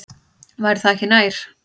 Væri það ekki nær?